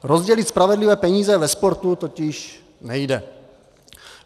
Rozdělit spravedlivě peníze ve sportu totiž nejde.